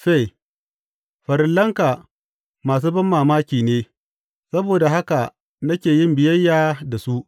Fe Farillanka masu banmamaki ne; saboda haka nake yin biyayya da su.